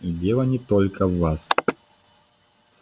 и дело не только в вас